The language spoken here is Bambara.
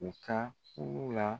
U ka kulu la